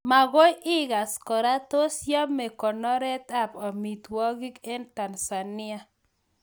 Magoi igas kora, tos yame konoret ab amitwogik eng Tansania